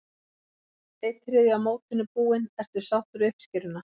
Einn þriðji af mótinu búinn, ertu sáttur við uppskeruna?